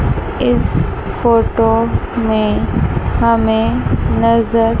इस फोटो में हमें नजर--